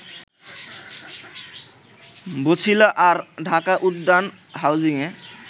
বছিলা আর ঢাকা উদ্যান হাউজিংয়ে